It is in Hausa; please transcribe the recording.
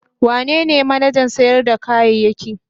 Wanene manajan kantin sayar da kayayyaki?